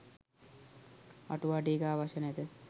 අටුවා ටීකා අවශ්‍ය නැත